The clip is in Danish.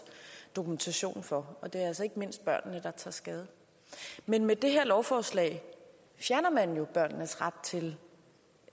dokumentation for og det er altså ikke mindst børnene der tager skade men med det her lovforslag fjerner man jo børnenes ret til